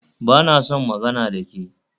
Ba na son magana da ke